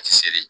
Seli